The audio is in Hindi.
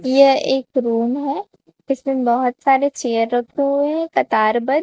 यह एक रूम है इसमें बहुत सारे चेयर रखे हुए हैं कतार बद्ध।